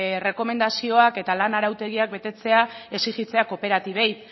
errekomendazioak eta lan arautegiak betetzea exijitzea kooperatibei